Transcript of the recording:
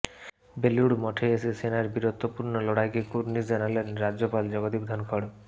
বেলুড় মঠে এসে সেনার বীরত্বপূর্ণ লড়াইকে কুর্নিশ জানালেন রাজ্যপাল জগদীপ ধনখড়